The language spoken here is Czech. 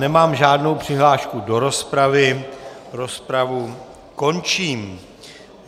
Nemám žádnou přihlášku do rozpravy, rozpravu končím.